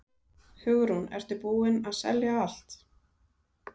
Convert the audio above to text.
Hugrún: Ertu búinn að selja allt?